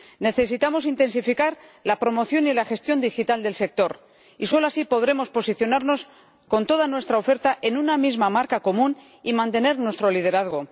Necesitamos intensificar la promoción y la gestión digital del sector y solo así podremos posicionarnos con toda nuestra oferta en una misma marca común y mantener nuestro liderazgo.